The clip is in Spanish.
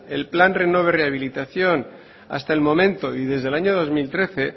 el plan renove rehabilitación hasta el momento y desde el año dos mil trece